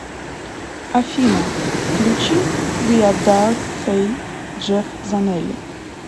афина включи виа дарк фей джефф занелли